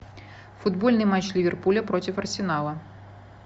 футбольный матч ливерпуля против арсенала